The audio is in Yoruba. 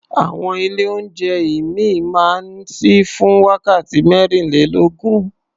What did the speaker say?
Àwọn ilé-oúnjẹ ìmíì máa ń ṣí fún wákàtí mẹ́rìnlélógún.